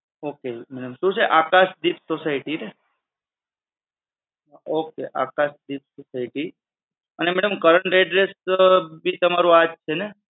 okay, ma'm શું છે Akashdeep society ને? ok આકાશદીપ સોસાયટી અને madam current address ભી તમારું આ જ છે ને?